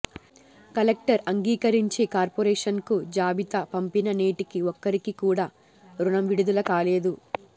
collector అంగీకరించి కార్పొరేషన్కు జాబితా పంపినా నేటికీ ఒక్కరికి కూడా రుణం విడుదల కాలేదు